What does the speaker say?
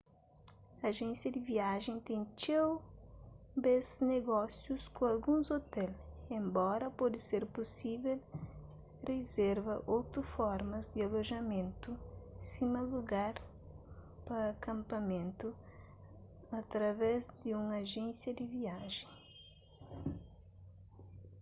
ajénsia di viajen ten txeu bês nogósius ku alguns ôtel enbora pode ser pusível rizerva otu formas di alojamentu sima lugar pa kanpamentu através di un ajénsia di viajen